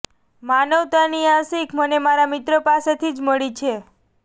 માનવતાની આ શીખ મને મારા મિત્ર પાસેથી જ મળી છે